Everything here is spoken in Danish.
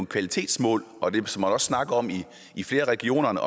kvalitetsmål og det som man også snakker om i flere regioner med